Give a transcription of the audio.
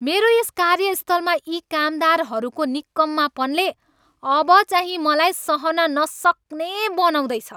मेरो यस कार्यस्थलमा यी कामदारहरूको निकम्मापनले अब चाहिँ मलाई सहन नसक्ने बनाउँदैछ।